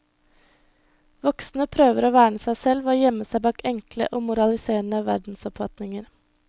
Voksne prøver å verne seg selv ved å gjemme seg bak enkle og moraliserende verdensoppfatninger.